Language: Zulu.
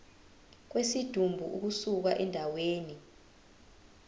kwesidumbu ukusuka endaweni